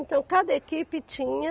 Então, cada equipe tinha